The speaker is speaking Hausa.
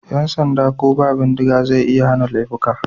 Yan sanda ko ba bindiga zai iya hana laifuka.